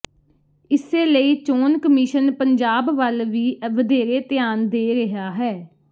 ਇਸੇ ਲਈ ਚੋਣ ਕਮਿਸ਼ਨ ਪੰਜਾਬ ਵੱਲ ਵੀ ਵਧੇਰੇ ਧਿਆਨ ਦੇ ਰਿਹਾ ਹੈ